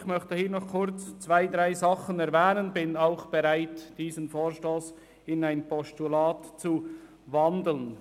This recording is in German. Ich möchte noch rasch zwei, drei Dinge erwähnen, bin aber bereit, den Vorstoss in ein Postulat zu wandeln.